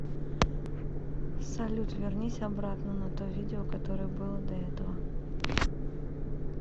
салют вернись обратно на то видео которое было до этого